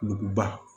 Duguba